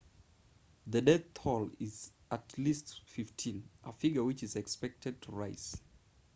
the death toll is at least 15 a figure which is expected to rise